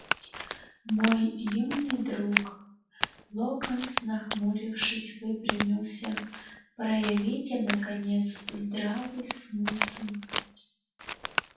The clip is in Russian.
мой юный друг локонс нахмурившись выпрямился проявите наконец здравый смысл